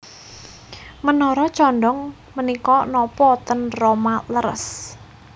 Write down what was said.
Menara condong menika nopo ten Roma leres